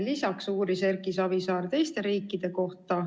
Lisaks uuris Erki Savisaar teiste riikide kohta.